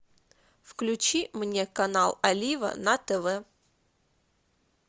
включи мне канал олива на тв